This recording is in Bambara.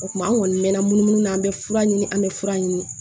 O tuma an kɔni mɛɛnna munumunu na an bɛ fura ɲini an bɛ fura ɲini